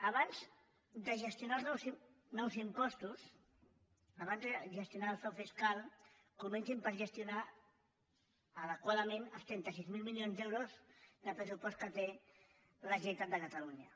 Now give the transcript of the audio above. abans de gestionar els nous impostos abans de ges·tionar el frau fiscal comencin per gestionar adequa·dament els trenta sis mil milions d’euros de pressupost que té la generalitat de catalunya